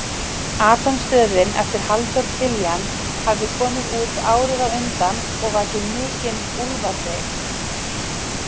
Atómstöðin eftir Halldór Kiljan hafði komið út árið á undan og vakið mikinn úlfaþyt.